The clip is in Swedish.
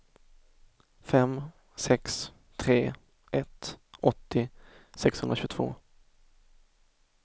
fem sex tre ett åttio sexhundratjugotvå